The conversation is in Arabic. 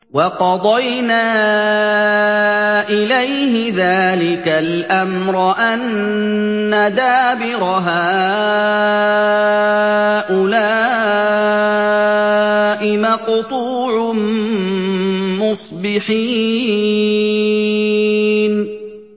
وَقَضَيْنَا إِلَيْهِ ذَٰلِكَ الْأَمْرَ أَنَّ دَابِرَ هَٰؤُلَاءِ مَقْطُوعٌ مُّصْبِحِينَ